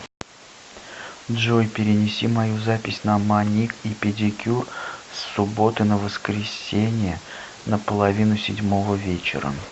джой перенеси мою запись на маник и педикюр с субботы на воскресенье на половину седьмого вечера